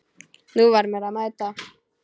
Nú var mér að mæta!